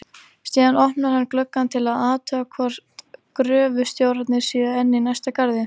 Síðan opnar hann gluggann til að athuga hvort gröfustjórarnir séu enn í næsta garði.